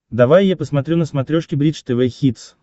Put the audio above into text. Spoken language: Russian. давай я посмотрю на смотрешке бридж тв хитс